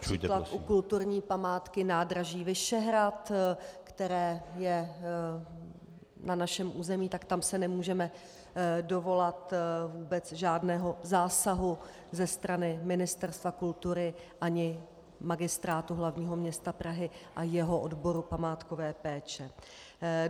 -například u kulturní památky nádraží Vyšehrad, která je na našem území, tak tam se nemůžeme dovolat vůbec žádného zásahu ze strany Ministerstva kultury ani Magistrátu hlavního města Prahy a jeho odboru památkové péče.